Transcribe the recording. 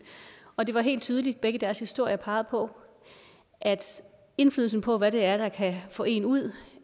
og det var helt tydeligt at begge deres historier pegede på at indflydelsen på hvad det er der kan få en ud